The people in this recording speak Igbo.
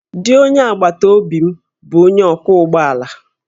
Di onye agbataobi m bụ onye ọkwọ ụgbọ ala